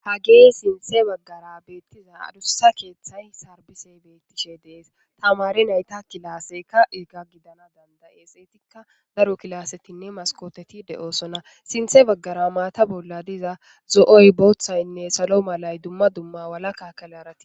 Hage Sintha Bagara Betiza Adussa Ketha Sarbisey Des Tamare Nayta Classeyka Eza Gidana Danda'es Ezanka Daro Classetine Maskkoteti De'osona Sinthe Bagara Mata Bola Diza Zo'oy Bothayne Duma Duma Walaka Calarati